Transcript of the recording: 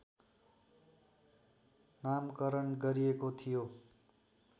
नामकरण गरिएको थियो